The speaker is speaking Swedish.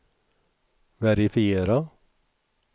verifiera